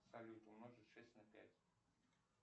салют умножить шесть на пять